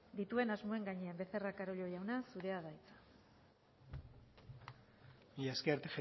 dituen asmoen gainean becerra carollo jauna zurea da hitza mila esker